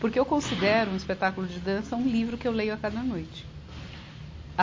Porque eu considero um espetáculo de dança um livro que eu leio a cada noite.